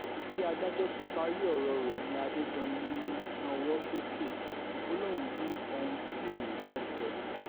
bí adájọ́ ti parí ọ̀rọ̀ rẹ̀ ni adédọ́yìn nawọ́ sókè ó lóun ní ohun tí òun fẹ́ẹ́ sọ